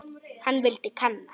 Hann vildi kanna.